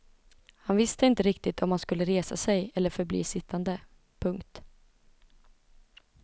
Han visste inte riktigt om han skulle resa sig eller förbli sittande. punkt